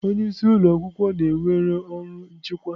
Onye isi ụlọ ọrụ na-ewere ọrụ nchịkwa.